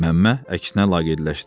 Məmmə əksinə laqeydləşdi.